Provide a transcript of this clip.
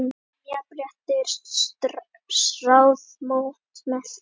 sem Jafnréttisráð mótmælti.